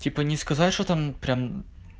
типа не сказать что там прям